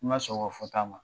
Ni ma sɔn u ka fɔ ta ma